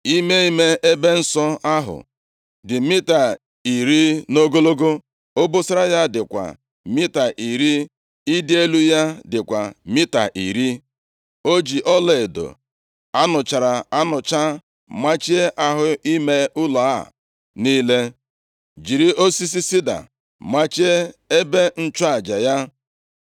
Ime ime ebe nsọ ahụ, dị mita iri nʼogologo, obosara ya dịkwa mita iri, ịdị elu ya dịkwa mita iri. + 6:20 \+xt Ọpụ 37:25-28; 1Ez 7:48-50\+xt* + 6:20 Ogologo ime ime nʼụlọnsọ ukwu a, bụ ọtụtụ abụọ, ma a tụnyere ya na Ebe Kachasị Nsọ nke ụlọ nzute ahụ. \+xt Ọpụ 26\+xt* O ji ọlaedo a nụchara anụcha machie ahụ ime ụlọ a niile, jiri osisi sida machie ebe nchụaja ya.